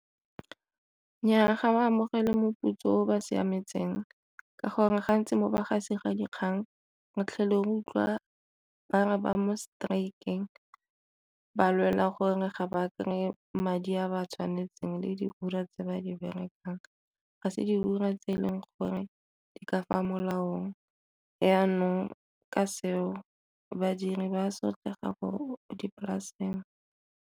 Nnyaa, ga ba amogele moputso o ba siametseng ka gore gantsi mo bagasi ba dikgang re tlhele re utlwa ba re ba mo strik-eng ba lwela gore ga ba kry-e madi a ba tshwanetseng le diura tse ba di berekang, ga se diura tse e leng gore di ka fa molaong. Jaanong, ka seo badiri ba sotlega ko dipolaseng.